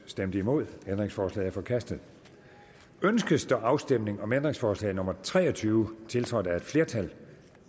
stemte nul ændringsforslaget er forkastet ønskes der afstemning om ændringsforslag nummer tre og tyve tiltrådt af et flertal